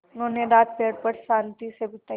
उन्होंने रात पेड़ पर शान्ति से बिताई